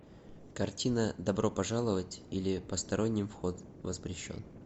картина добро пожаловать или посторонним вход воспрещен